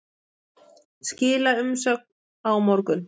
Skila umsögn á morgun